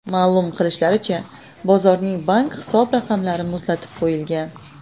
Ma’lum qilishlaricha, bozorning bank hisob-raqamlari muzlatib qo‘yilgan.